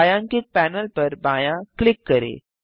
छायांकित पैनल पर बायाँ क्लिक करें